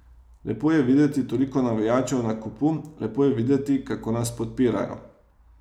Lepo je videti toliko navijačev na kupu, lepo je videti, kako nas podpirajo.